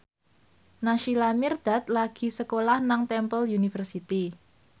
Naysila Mirdad lagi sekolah nang Temple University